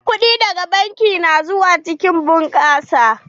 Kuɗi daga banki na zuwa cikin bunƙasa.